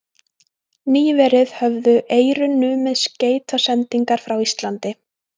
Nýverið höfðu Eyrun numið skeytasendingar frá Íslandi.